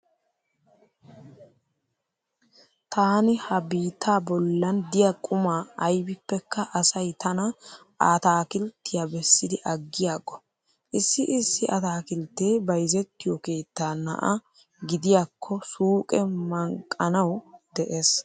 Taani ha biittaa bollan diya quma aybippekka asay tana ataakilttiya bessidi aggiyago. Issi issi ataakilttee bayzettiyo keettaa na'a gidiyakko suuqee manqqanawu dees.